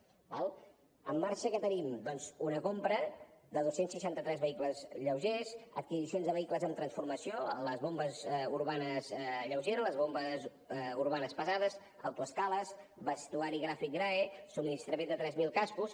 d’acord en marxa què tenim doncs una compra de dos cents i seixanta tres vehicles lleugers adquisicions de vehicles amb transformació les bombes urbanes lleugeres les bombes urbanes pesants autoescales vestuari graf i grae subministrament de tres mil cascos